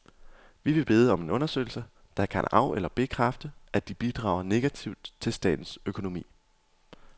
Vi vil bede om en undersøgelse, der kan af eller bekræfte, at de bidrager negativt til statens økonomi.